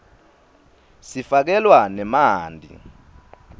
sifakelwa nemanti